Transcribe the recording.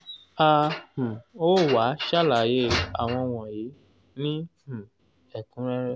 a um ó wá sàlàyé àwọn wọ̀nyí ní um ẹ̀kúnrẹ́rẹ́